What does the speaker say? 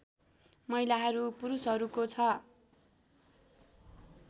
महिलाहरू पुरूषहरूको छ